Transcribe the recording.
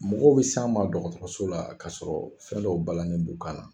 Mɔgɔw bɛ s'an ma dɔgɔtɔrɔso la k'a sɔrɔ fɛn dɔ balanen b'u kan na.